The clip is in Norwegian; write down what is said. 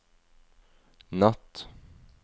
natt